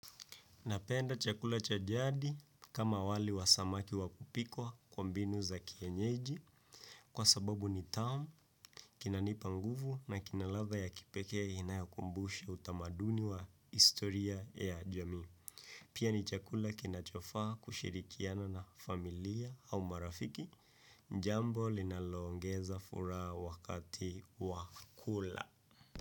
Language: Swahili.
Napenda chakula cha jadi kama wali wa samaki wakupikwa kwa mbinu za kienyeji kwa sababu ni tamu kinanipa nguvu na kina ladha ya kipekee inayokumbusha utamaduni wa historia ya jamii. Pia ni chakula kinachofaa kushirikiana na familiya au marafiki jambo linalongeza furaha wakati wa kula.